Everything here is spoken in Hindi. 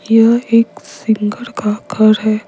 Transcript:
यह एक सिंगर का घर है।